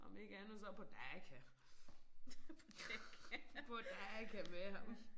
Om ikke andet så på Daka på Daka med ham